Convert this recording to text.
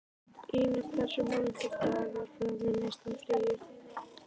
Inna, hversu margir dagar fram að næsta fríi?